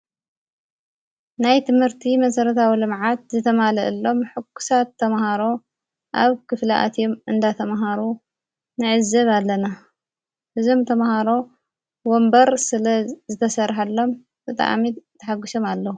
ናይ ትምህርቲ መሠረት ኣዊለምዓት ዘተማልአሎም ሕኲሳት ተምሃሮ ኣብ ክፍላኣትዮም እንዳተምሃሩ ንዕዝብ ኣለና ሕዞም ተምሃሮ ወንበር ስለ ዝተሠርሐሎም ብጥኣሚድ ተሓጕሶም ኣለዉ።